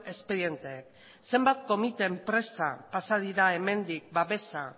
espedienteak zenbat komite enpresa pasa dira hemendik laguntza